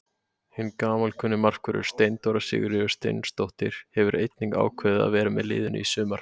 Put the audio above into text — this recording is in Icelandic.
Mamma hans varð undrandi þegar hún sá hann og gekk til hans.